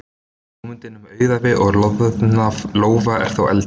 Hugmyndin um auðæfi og loðna lófa er þó eldri.